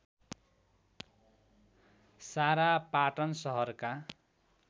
सारा पाटन सहरका